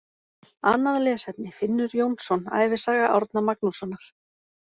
Annað lesefni: Finnur Jónsson, Ævisaga Árna Magnússonar.